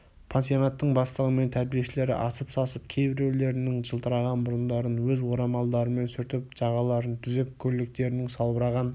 пансионаттың бастығы мен тәрбиешілер асып-сасып кейбіреулерінің жылтыраған мұрындарын өз орамалдарымен сүртіп жағаларын түзеп көйлектерінің салбыраған